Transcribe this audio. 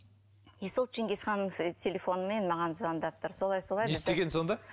и сол ченгисханның телефонмен маған звондап тұр